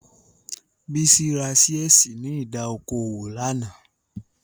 Bísí ra ṣíẹ̀sì ní ìdá okò òwò lánàá